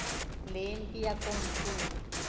le mpi yakomkhulu